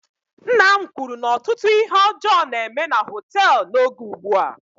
Nna m kwuru na ọtụtụ ihe ọjọọ na-eme na họteelụ n'oge ugbua